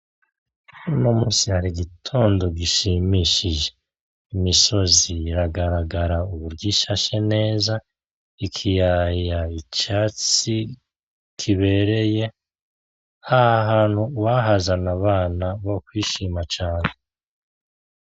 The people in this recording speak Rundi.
Uno musi hari igitondo gishimishije. Imisozi iragaragara uburyo ishashe neza ,ikiyaya, icatsi kibereye. Aha hantu uwohazana abana bokwishima cane.